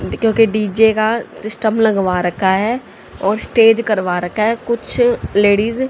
क्योंकि डी_जे का सिस्टम लगवा रखा है और स्टेज करवा रखा है कुछ लेडिज --